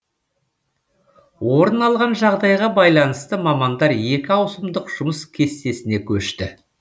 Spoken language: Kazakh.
орын алған жағдайға байланысты мамандар екі ауысымдық жұмыс кестісіне көшті